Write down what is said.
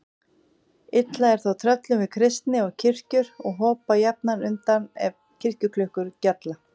Illa er þó tröllum við kristni og kirkjur og hopa jafnan undan ef kirkjuklukkur gjalla.